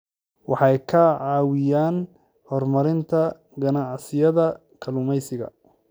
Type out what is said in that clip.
Waxay ka caawiyaan horumarinta ganacsiyada kalluumeysiga.